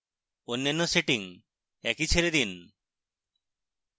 অন্যান্য সেটিংস একই ছেড়ে দিন